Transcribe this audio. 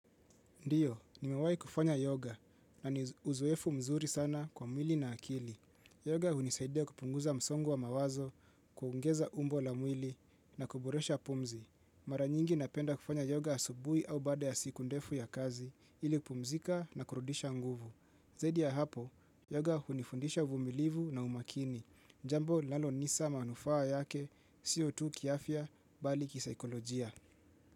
Ndiyo, nimewai kufanya yoga na ni uzoefu mzuri sana kwa mwili na akili. Yoga hunisaidia kupunguza msongo wa mawazo, kuongeza umbo la mwili na kuboresha pumzi. Mara nyingi napenda kufanya yoga asubui au baada ya siku ndefu ya kazi ili kupumzika na kurudisha nguvu. Zaidi ya hapo, yoga hunifundisha uvumilivu na umakini. Jambo linalo nisa manufaa yake, sio tu kiafya, bali kisaikolojia.